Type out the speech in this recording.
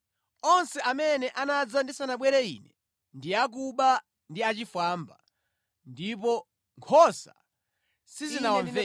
Onse amene anadza ndisanabwere Ine ndi akuba ndi achifwamba, ndipo nkhosa sizinawamvere.